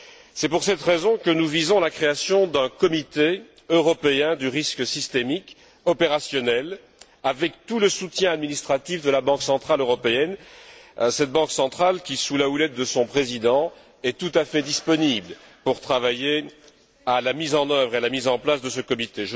C'est pour cette raison que nous visons la création d'un comité européen du risque systémique opérationnel, avec tout le soutien administratif de la Banque centrale européenne, cette Banque centrale qui, sous la houlette de son président, est tout à fait disponible pour travailler à la mise en œuvre et à la mise en place de ce comité.